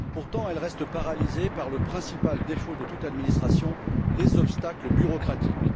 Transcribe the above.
Pourtant, elle reste paralysée par le principal défaut de toute administration les obstacles bureaucratiques.